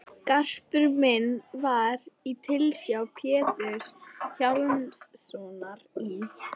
Garpur minn var í tilsjá Péturs Hjálmssonar í